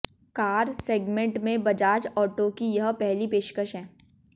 car segment में Bajaj Auto की यह पहली पेशकश है